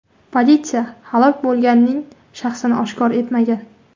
Politsiya halok bo‘lganning shaxsini oshkor etmagan.